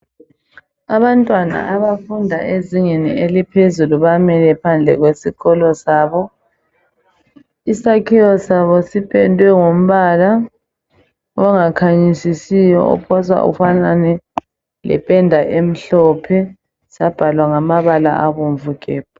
Abantwana abafunda ezingeni eliphezulu bamile phandle kwesikolo sabo, isakhiwo sabo sipendwe ngombala ongakhanyisisiyo ophosa ufanane lependa emhlophe sabhalwa ngamabala abomvu gebhu.